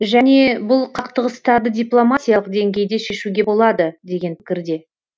және бұл қақтығыстарды дипломатиялық деңгейде шешуге болады деген пікірде